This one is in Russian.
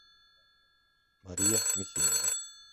мария михеева